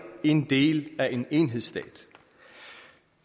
en del af en enhedsstat